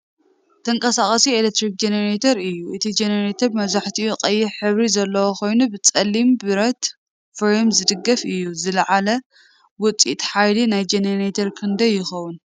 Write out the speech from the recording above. ተንቀሳቓሲ ኤሌክትሪክ ጀነሬተር እዩ። እቲ ጀነሬተር መብዛሕትኡ ቀይሕ ሕብሪ ዘለዎ ኮይኑ ብጸሊም ብረት ፍሬም ዝድገፍ እዩ። ዝለዓለ ውጽኢት ሓይሊ ናይዚ ጀነሬተር ክንደይ ይኸውን?